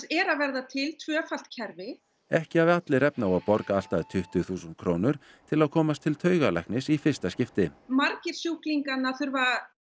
er að verða til tvöfalt kerfi ekki hafi allir efni á að borga allt að tuttugu þúsund krónur til að komast til taugalæknis í fyrsta skipti margir sjúklinganna þurfa